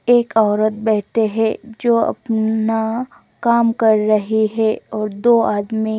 एक ओरत बेठे है जो अपना काम कर रही है और दो आदमी--